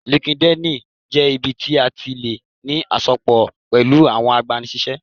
Línkídinì jẹ́ ibi tí a tí lè ní àsopọ̀ pẹ̀lú àwọn agbani-síṣẹ́